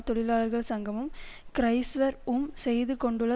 தொழிலாளர்கள் சங்கமும் கிறைஸ்வர் உம் செய்துகொண்டுள்ள